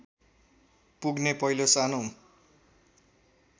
पुग्ने पहिलो सानो